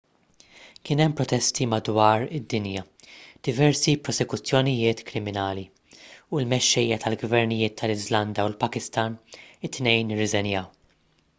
kien hemm protesti madwar id-dinja diversi prosekuzzjonijiet kriminali u l-mexxejja tal-gvernijiet tal-iżlanda u l-pakistan it-tnejn irriżenjaw